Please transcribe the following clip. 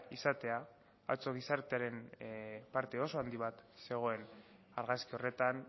izatea atzo gizartearen parte oso handi bat zegoen argazki horretan